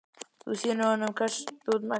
Þú sýnir honum hvers þú ert megnug.